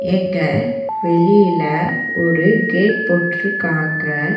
இங்க வெளில ஒரு கேட் போட்ருக்காங்க.